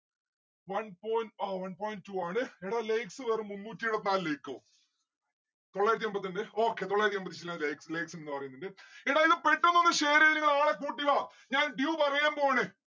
one point ആ one point two ആണ്. എടോ likes വെറും മുന്നൂറ്റിഎഴുപത്തിനാല് like ഓ തൊള്ളായിരത്തി എമ്പത്തിരണ്ട്‌ okay തൊള്ളായിരത്തി ലാ likes ഉള്ളേ എടാ ഇത് പെട്ടെന്നൊന്ന് share എയ്ത നിങ്ങൾ ആളെ കൂട്ടിവാ ഞാൻ dew പറയാൻ പോവാണ്